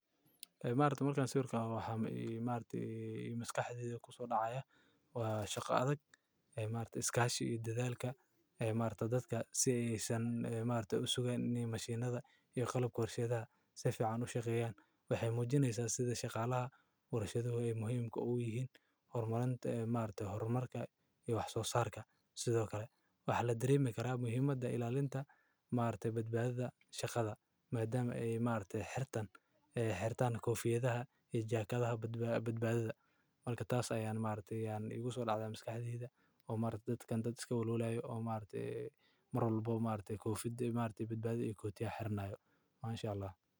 Ee maragte markan sawirkan arko maskaxdeyda maxa kuso dacaya . Waa shaqada imaarta iskashii dadaalka. Imaarto dadka si aysan imaarto isuga ni masjiinada iyo qallab koorshayda safi can u shaqeeyaan way hay mujinaysan sida shaqaalaha warashadu ay muhiimka u yihiin horumarinta imaarta, hormarka iyo wax soo saarka sidoo kale waax la diri mi karaa muhiimadda ilaalinta imaarta badbaadada shaqada maadaama imaarta xirtan ee xirtan ka oo fiidaha ijoorkada badba badbaadada. Malka taas ayaan imaartey yaan igu soo laaca imis ka hadhiyay ama dadka kan iska walaalo ay imaarte marwalbo imaarte kuw fid imaarte badbaado iga koti ah xiranayo. Ma insha Allah.